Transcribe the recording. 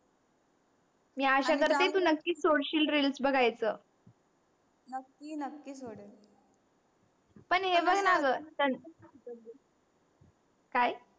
मी आशा करते तू नक्कीच सोडशील reels बगायच नक्की नक्की सोडेल पण हे बग ग णा ग तं काय